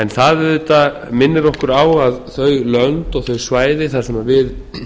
það auðvitað minnir okkur á að í þeim löndum og þeim svæðum þar sem við